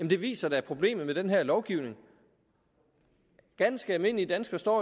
det viser da problemet med den her lovgivning ganske almindelige danskere står